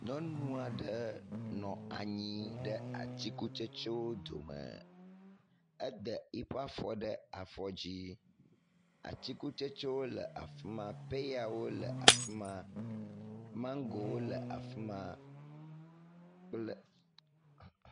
Nyɔnu aɖe nɔ anyi ɖe atsikutsetsewo dome. Ede eƒe afɔ ɖe afɔ dzi. Atsikutsetsewo le afi ma. Peyawo le afi ma, maŋgowo le afi ma kple …